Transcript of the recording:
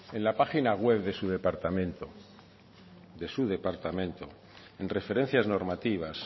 en la página web de su departamento de su departamento en referencias normativas